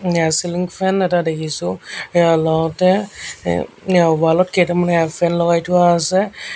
ইয়া ceiling fan এটা দেখিছোঁ এয়া লওঁতে অ ৱাল ত কেইটামান এয়াৰ ফেন লগাই থোৱা আছে।